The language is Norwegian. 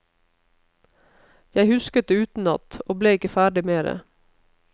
Jeg husket det utenat, og ble ikke ferdig med det.